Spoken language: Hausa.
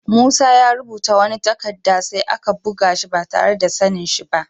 Musa ya rubuta wani takadda sai an buga shi ba tarre da sani'n shi ba.